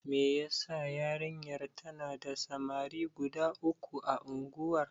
Me yasa yarinyar tana da samari guda uku a unguwar.